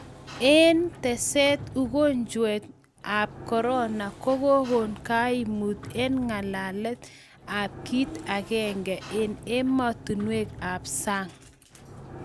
eng teset ugojwet ab korona ko kokon kaimut eng ngalek ab kit akenge eng ematunuek ab sang